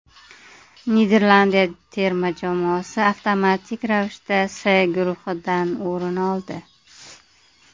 Niderlandiya terma jamoasi avtomatik ravishda C guruhidan o‘rin oldi.